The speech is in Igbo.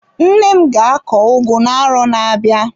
Nne m ga akọ ugu na-arọ na-abịa.